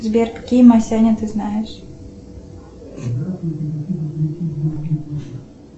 сбер какие масяни ты знаешь